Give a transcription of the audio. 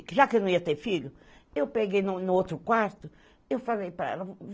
Já que eu não ia ter filho, eu peguei no no outro quarto, eu falei para ela.